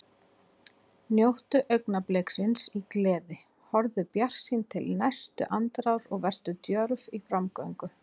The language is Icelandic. Njóttu augnabliksins í gleði, horfðu bjartsýn til næstu andrár og vertu djörf í framgöngu.